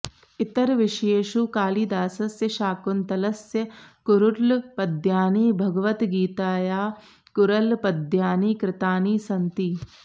इतरविषयेषु कालिदासस्य शाकुन्तलस्य कुरुळ् पद्यानि भगवद्गीतायाः कुरुळ् पद्यानि कृतानि सन्ति